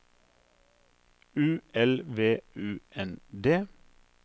U L V U N D